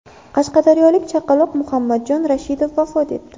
Qashqadaryolik chaqaloq Muhammadjon Rashidov vafot etdi .